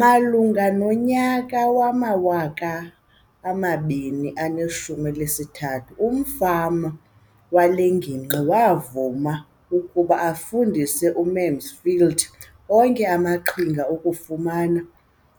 Malunga nonyaka wama-2013, umfama wale ngingqi wavuma ukuba afundise uMansfield onke amaqhinga okufumana